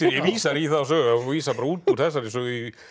vísar í þá sögu hún vísar út úr þessari sögu